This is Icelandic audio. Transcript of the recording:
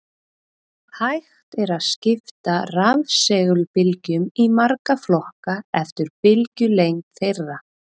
Hægt er að skipta rafsegulbylgjum í marga flokka eftir bylgjulengd þeirra.